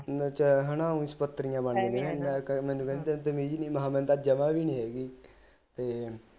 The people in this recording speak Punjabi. ਏ ਹਣਾ ਸ਼ਕੱਤਰੀਆ ਬਣ ਜਾਂਦੇ ਮੈਂ ਕਹਿ ਮੈਨੂੰ ਕਹਿੰਦੀ ਤੈਨੂੰ ਤਮੀਜ ਨੀ ਮਹਿ ਮੈਨੂੰ ਤਾ ਜਮਾ ਵੀ ਨੀ ਹੈਗੀ ਤੇ